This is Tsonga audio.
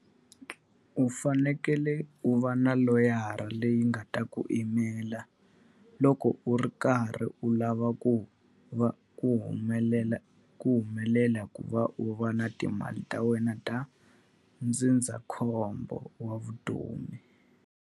U fanekele u va na loyara leyi nga ta ku yimela loko u ri karhi u lava ku va ku humelela ku humelela ku va u va na timali ta wena ta ndzindzakhombo wa vutomi.